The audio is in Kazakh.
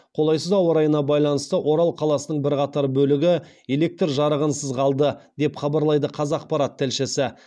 қолайсыз ауа райына байланысты орал қаласының бірқатар бөлігі электр жарығынсыз қалды деп хабарлайды қазақпарат тілшісі